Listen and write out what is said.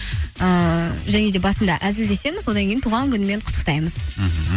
ыыы және де басында әзілдемесіз одан кейін туған күнімен құттықтаймыз мхм